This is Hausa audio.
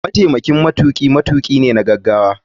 Mataimakin matuki matuki ne na gagawa.